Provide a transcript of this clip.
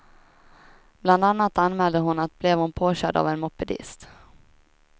Bland annat anmälde hon att blev hon påkörd av en mopedist.